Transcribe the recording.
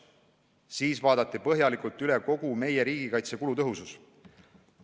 Siis vaadati põhjalikult üle kogu meie riigikaitse kulutõhusus.